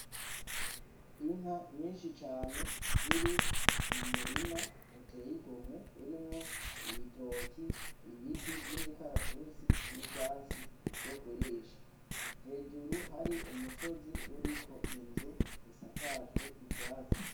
Inka nyinshi cane ziri mu murima uteye igomwe urimwo ibitoki ,ibiti vy'imikaratusi n'ivyatsi vyokurisha. Hejuru hari umusozi uriko inzu isakajwe ivyatsi.